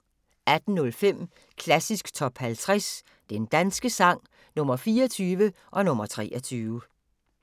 18:05: Klassisk Top 50 Den danske sang – Nr. 24 og nr. 23